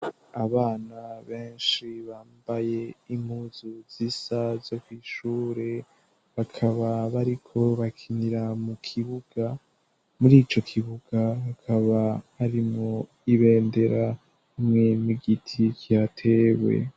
Abana benshi bambaye impuzu zisa zo kw'ishure, bakaba bariko bakinira mu kibuga. Mur'ico kibuga hakaba harimwo ibendera hamwe n'igiti kihatewe.